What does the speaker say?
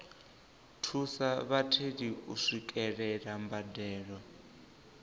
thusa vhatheli u swikelela mbadelo